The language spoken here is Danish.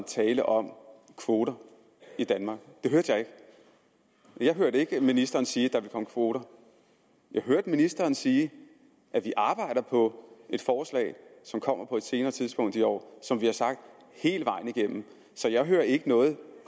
tale om kvoter i danmark jeg hørte ikke ministeren sige at der ville komme kvoter jeg hørte ministeren sige at vi arbejder på et forslag som kommer på et senere tidspunkt i år som vi har sagt hele vejen igennem så jeg hører ikke noget